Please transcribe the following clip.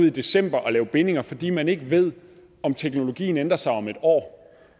i december og lave bindinger fordi man ikke ved om teknologien ændrer sig om et år